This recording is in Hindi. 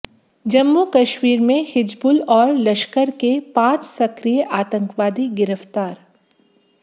जम्मू कश्मीर में हिज्बुल और लश्कर के पांच सक्रिय आतंकवादी गिरफ्तार